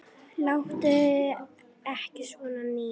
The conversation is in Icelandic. Láttu ekki svona, Nína.